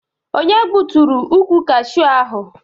Onye gbutụrụ ukwụ Kashu ahụ?